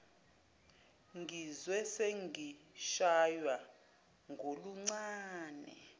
ngizwe sengishaywa ngoluncane